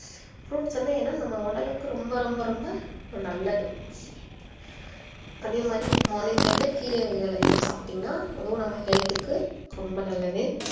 fruits வந்து ஏன்னா நம்ம உடலுக்கு ரொம்ப ரொம்ப ரொம்ப நல்லது அதே மாரி morning time ல கீரை வகைகள் அதிகமா சாப்டீங்கன்னா அதுவும் நம்ம health க்கு ரொம்ப நல்லது